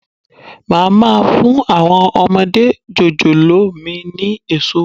Máa má fún àwọn ọmọdé jòjòló mi ni èso.